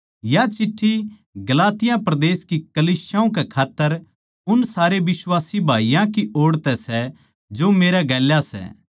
या चिट्ठी गलातिया परदेस की कलीसियाओं कै खात्तर उन सारे बिश्वासी भाईयाँ की ओड़ तै सै जो मेरै गेल्या सै